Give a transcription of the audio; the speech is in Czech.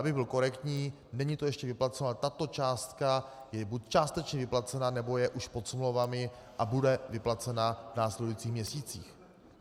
Abych byl korektní, není to ještě vyplaceno, ale tato částka je buď částečně vyplacena, nebo je už pod smlouvami a bude vyplacena v následujících měsících.